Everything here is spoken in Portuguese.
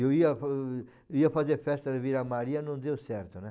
Eu ia, ia fazer festa de Vila Maria, não deu certo, né?